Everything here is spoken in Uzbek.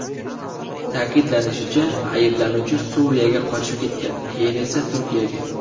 Ta’kidlanishicha, ayblanuvchi Suriyaga qochib ketgan, keyin esa Turkiyaga.